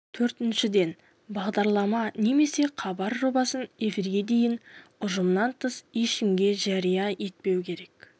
төртіншіден бағдарлама немесе хабар жобасын эфирге дейін ұжымнан тыс ешкімге жария етпеу керек